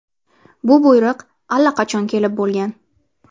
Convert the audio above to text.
Bu buyruq allaqachon kelib bo‘lgan.